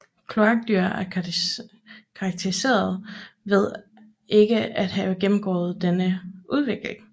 Kloakdyr er karakteriseret ved ikke at have gennemgået denne udvikling